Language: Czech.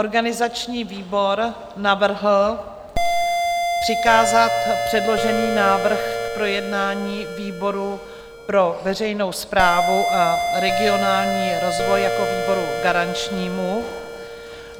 Organizační výbor navrhl přikázat předložený návrh k projednání výboru pro veřejnou správu a regionální rozvoj jako výboru garančnímu.